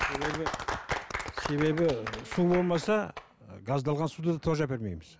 себебі себебі су болмаса газдалған суды тоже әпермейміз